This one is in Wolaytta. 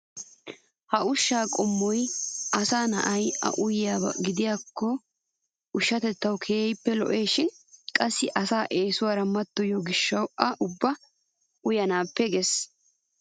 Ha ushshaa qommoy asaa na'ay a uyiyaaba gidikko ushshatettawu keehippe lo'esishin qassi asaa eesuwaara mattoyiyoo giishshawu a ubbay uyanappe ges!